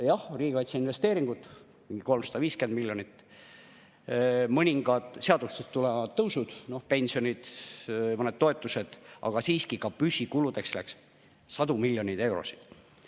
Jah, riigikaitse investeeringud mingi 350 miljonit, mõningad seadustest tulenevad tõusud – pensionid, mõned toetused –, aga siiski ka püsikuludeks läks sadu miljoneid eurosid.